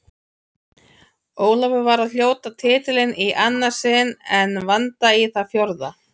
Ólafur var að hljóta titilinn í annað sinn en Vanda í það fjórða.